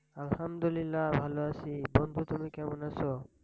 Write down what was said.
আলহামদুলিল্লা, ভালো আসি। বন্ধু তুমি কেমন আছ?